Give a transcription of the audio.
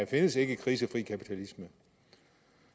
findes en krisefri kapitalisme